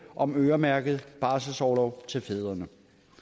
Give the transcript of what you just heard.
om øremærket barselsorlov til fædrene